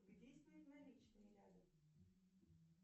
где снять наличные рядом